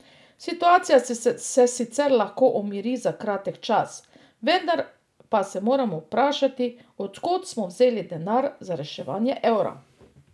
Situacija se sicer lahko umiri za kratek čas, vendar pa se moramo vprašati, od kod smo vzeli denar za reševanje evra?